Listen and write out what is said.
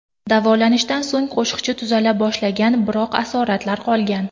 Davolanishdan so‘ng qo‘shiqchi tuzala boshlagan, biroq asoratlar qolgan.